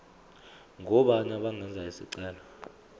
ngobani abangenza isicelo